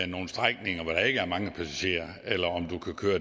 nogle strækninger hvor der ikke er mange passagerer eller om du kan køre